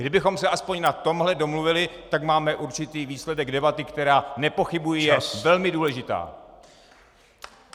Kdybychom se aspoň na tomhle domluvili, tak máme určitý výsledek debaty, která, nepochybuji, je velmi důležitá.